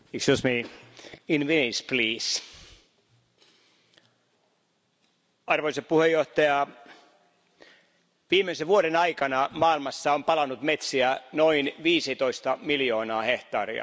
Arvoisa puhemies, viimeisen vuoden aikana maailmassa on palanut metsiä noin 15 miljoonaa hehtaaria. Se on enemmän kuin monen Euroopan unionin jäsenmaan pinta ala.